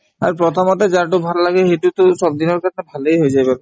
আৰু প্ৰথমতে যাৰতো ভাল সিটোয়েতো চব দিনৰ কাৰণে ভালেই হৈ যায় বাৰু